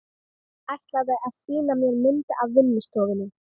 Ætlaði að sýna mér myndir á vinnustofunni.